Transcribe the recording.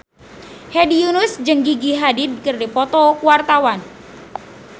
Hedi Yunus jeung Gigi Hadid keur dipoto ku wartawan